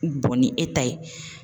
ni e ta ye